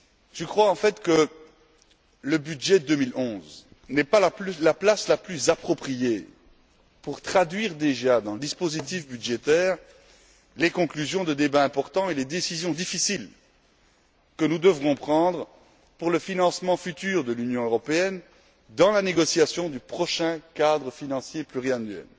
Je crois en fait que le budget 2011 n'est pas le lieu le plus approprié pour traduire déjà dans le dispositif budgétaire les conclusions de débats importants et les décisions difficiles que nous devrons prendre pour le financement futur de l'Union européenne lors de la négociation du prochain cadre financier pluriannuel.